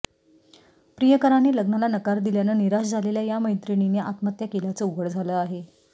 प्रियकरांनी लग्नाला नकार दिल्यानं निराश झालेल्या या मैत्रिणींनी आत्महत्या केल्याचं उघड झालं आहे